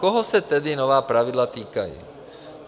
Koho se tedy nová pravidla týkají?